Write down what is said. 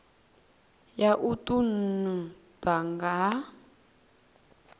ya u ṱun ḓwa ha